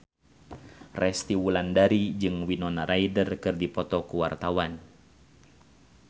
Resty Wulandari jeung Winona Ryder keur dipoto ku wartawan